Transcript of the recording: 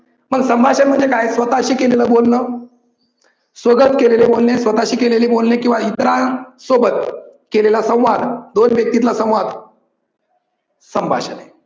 मग संभाषण म्हणजे काय स्वतःशी केलेलं बोलन, स्वगत केलेले बोलणे स्वतःशी केलेले बोलणे किव्वा इतरां सोबत केलेला संवाद दोन व्यक्तितला संवाद संभाषण आहे.